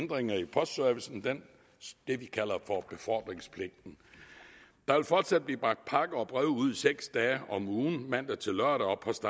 ændringer i postservicen det vi kalder befordringspligten der vil fortsat blive bragt pakker og breve ud seks dage om ugen mandag til lørdag og post